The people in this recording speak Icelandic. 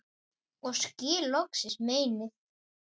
og skil loksins meinið